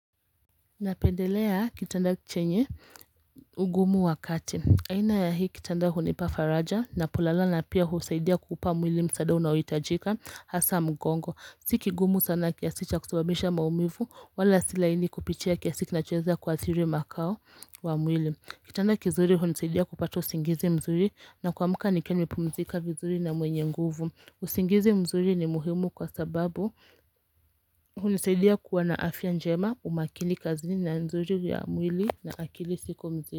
Napendelea kitanda chenye ugumu wa kati. Aina ya hii kitanda hunipa faraja na polala na pia husaidia kuupa mwili msaada unaohitajika hasa mgongo. Sikigumu sana kiasi cha kusababisha maumivu wala si laini kupichia kiasi kinachoweza kuathiri makao wa mwili. Kitanda kizuri hunisaidia kupata usingizi mzuri na kuamka nikiwa nimepumzika vizuri na mwenye nguvu. Usingizi mzuri ni muhimu kwa sababu hunisaidia kuwa na afya njema umakini kazini na nzuri ya mwili na akili siko mzi.